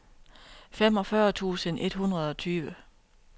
femogfyrre tusind et hundrede og tyve